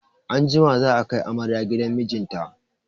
Anjima za a kai amarya gidan mijinta.